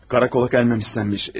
Karakola gəlməyim istənilmiş.